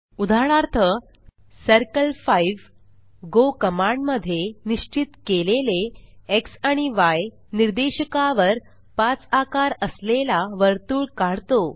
उदाहरणार्थ circle 5 go command मध्ये निस्चित केलेले एक्स आणि य निर्देशकावर 5 आकार असलेला वर्तुळ काढतो